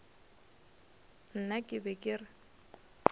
nna ke be ke re